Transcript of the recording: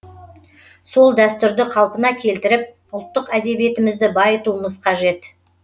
сол дәстүрді қалпына келтіріп ұлттық әдебиетімізді байытуымыз қажет